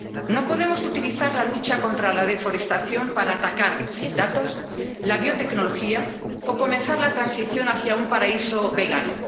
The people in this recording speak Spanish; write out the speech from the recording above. No podemos utilizar la lucha contra la deforestación para atacar sin datos la biotecnología o comenzar la transición hacia un paraíso vegano.